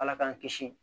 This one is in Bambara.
Ala k'an kisi